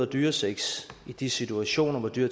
dyresex i de situationer hvor dyr